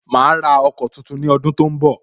Ma ra ọkọ̀ tuntun ni ọdun tó ń bọ̀